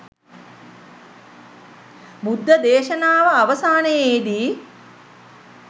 බුද්ධ දේශනාව අවසානයේදී